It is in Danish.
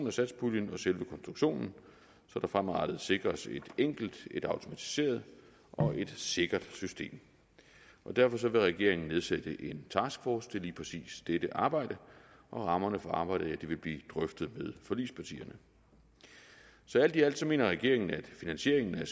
af satspuljen og selve konstruktionen så der fremadrettet sikres et enkelt et automatiseret og et sikkert system og derfor vil regeringen nedsætte en taskforce til lige præcis dette arbejde og rammerne for arbejdet vil blive drøftet med forligspartierne så alt i alt mener regeringen at finansieringen af